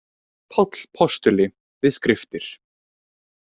Páll postuli við skriftir.